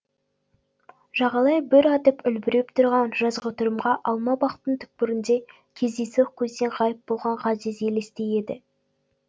жағалай бүр атып үлбіреп тұрған жазғытұрымғы алма бақтың түкпірінде кездейсоқ көзден ғайып болған ғазиз елестей еді